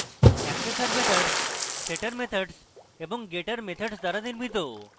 accessor methods setter methods এবং getter methods দ্বারা নির্মিত